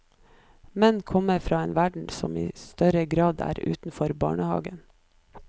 Menn kommer fra en verden som i større grad er utenfor barnehagen.